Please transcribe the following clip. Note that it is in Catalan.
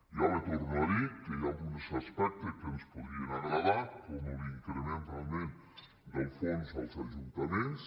ja li torno a dir que hi ha alguns aspectes que ens podrien agradar com l’increment realment del fons als ajuntaments